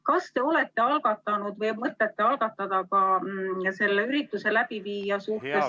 Kas te olete algatanud või mõtlete algatada ka selle ürituse läbiviija suhtes menetluse ...